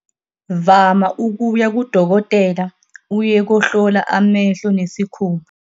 Vama ukuya kudokotela uye kohlola amehlo nesikhumba.